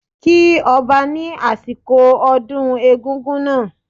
Kí Ọba ni asiko ọdún egungun náà